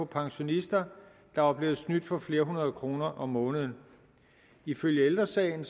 pensionister der var blevet snydt for flere hundrede kroner om måneden ifølge ældre sagen